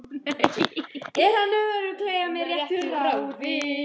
Er hann örugglega með réttu ráði?